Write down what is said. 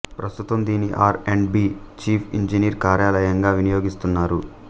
ప్రస్తుతం దీన్ని R and B chief engineer కార్యాలయంగా వినియోగిస్తున్నారు